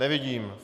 Nevidím.